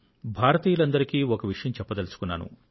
భారతీయులందరికీ ఒక విషయం చెప్పదలుచుకున్నాను